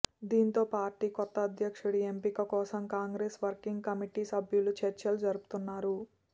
దీంతో పార్టీ కొత్త అధ్యక్షుడి ఎంపీక కోసం కాంగ్రెస్ వర్కింగ్ కమిటీ సభ్యులు చర్చలు జరుపుతున్నారు